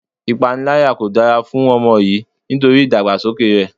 Ipanilaya kò dára fún ọmọ yìí nítorí idagbasoke rẹ.